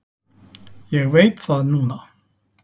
Ég veit það núna.